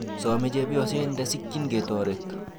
Some chepyoset ndasikchini ketoret.